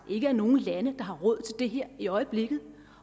ikke er nogen lande der har råd til det her i øjeblikket